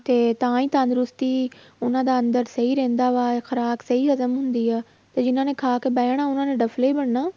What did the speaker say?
ਤੇ ਤਾਂ ਹੀ ਤੰਦਰੁਸਤੀ ਉਹਨਾਂ ਦਾ ਅੰਦਰ ਸਹੀ ਰਹਿੰਦਾ ਵਾ, ਖ਼ਰਾਕ ਸਹੀ ਹਜ਼ਮ ਹੁੰਦੀ ਆ, ਤੇ ਜਿੰਨਾਂ ਨੇ ਖਾ ਕੇ ਬਹਿ ਜਾਣਾ ਉਹਨਾਂ ਨੇ ਡਫ਼ਲੇ ਹੀ ਬਣਨਾ।